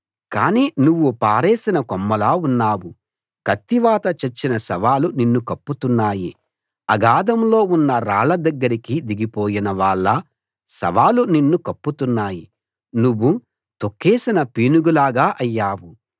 కానీ నువ్వు పారేసిన కొమ్మలా ఉన్నావు కత్తివాత చచ్చిన శవాలు నిన్ను కప్పుతున్నాయి అగాధంలో ఉన్న రాళ్ళ దగ్గరికి దిగిపోయిన వాళ్ళ శవాలు నిన్ను కప్పుతున్నాయి నువ్వు తొక్కేసిన పీనుగులా అయ్యావు